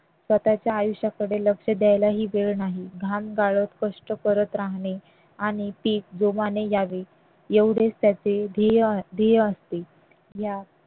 स्वतःच्या आयुष्याकडे लक्ष द्यायला ही वेळ नाही घाम गाळत कष्ट करत राहणे आणि पीक जोमाने यावे एवढेच त्याचे ध्येय असते या